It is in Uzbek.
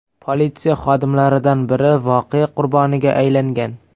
Politsiya xodimlaridan biri voqea qurboniga aylangan .